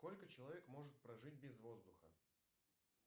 сколько человек может прожить без воздуха